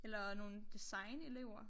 Eller nogen designelever